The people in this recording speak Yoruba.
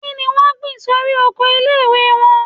Kí ni wọ́n gbìn sórí oko ilé - ìwé wọn?